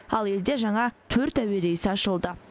ал елде жаңа төрт әуе рейсі ашылды